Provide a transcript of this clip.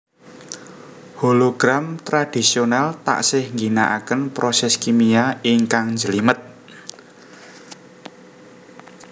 Hologram tradhisional taksih ngginakaken proses kimia ingkang njlimet